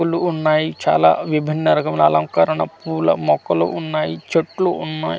పూలు ఉన్నాయి చాలా విభిన రకమ్ముల అలంకారణ పూల మొక్కలు ఉన్నాయి చుట్టూ ఉన్నాయ్.